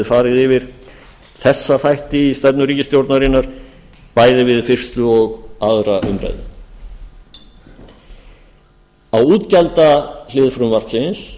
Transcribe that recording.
farið yfir þessa þætti í stefnu ríkisstjórnarinnar bæði við þessa og annarrar umræðu á útgjaldahlið frumvarpsins